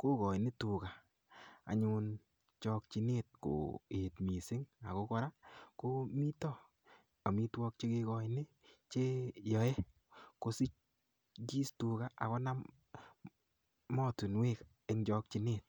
kokoini tuka anyun chokchinet koet mising akokora komito omitwokik chekekoini cheyoei kosikis tuka akinam motunwek eng chokchinet